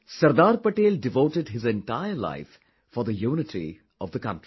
Sardar Patel devoted his entire life for the unity of the country